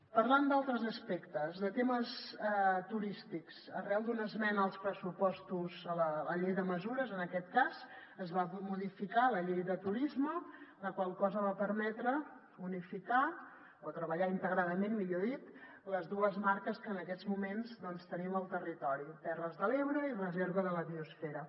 parlant d’altres aspectes de temes turístics arran d’una esmena als pressupostos a la llei de mesures en aquest cas es va modificar la llei de turisme la qual cosa va permetre unificar o treballar integradament millor dit les dues marques que en aquests moments doncs tenim al territori terres de l’ebre i reserva de la biosfera